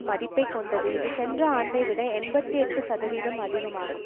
மதிப்பை கொண்டது இது சென்ற ஆண்டைவிட எண்பத்தி எட்டுசதவீதம் அதிகமாகும்